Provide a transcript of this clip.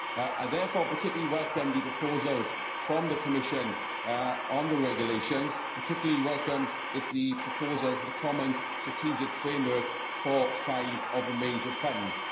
I therefore particularly welcome the proposals from the Commission on the regulations and particularly welcome the proposals for a common strategic framework for five of the major funds.